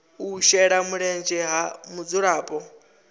u shela mulenzhe ha mudzulapo